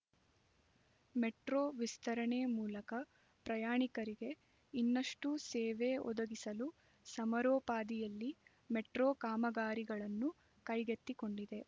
metro ವಿಸ್ತರಣೆ ಮೂಲಕ ಪ್ರಯಾಣಿಕರಿಗೆ ಇನ್ನಷ್ಟು ಸೇವೆ ಒದಗಿಸಲು ಸಮರೋಪಾದಿಯಲ್ಲಿ ಮೆಟ್ರೋ ಕಾಮಗಾರಿಗಳನ್ನು ಕೈಗೆತ್ತಿಕೊಂಡಿದೆ